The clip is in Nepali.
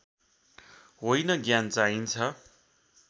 होइन ज्ञान चाहिन्छ